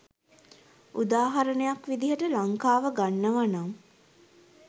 උදාහරණයක් විදිහට ලංකාව ගන්නවානම්